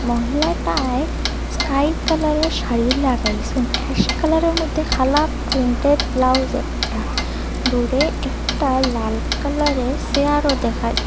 মহিলাটায় sky কালারের শাড়ি লাগাইসে ash কালারের মধ্যে কালা প্রিন্টের ব্লাউজ একটা দূরে একটা লাল কালারের সেয়ারও দেখা যা--